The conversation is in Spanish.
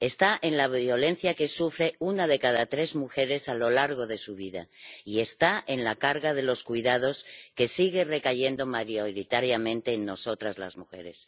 está en la violencia que sufre una de cada tres mujeres a lo largo de su vida, y está en la carga de los cuidados, que sigue recayendo mayoritariamente en nosotras, las mujeres.